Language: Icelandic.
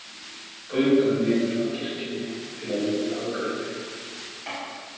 Göngum niður að kirkjunni til að líta á gripinn.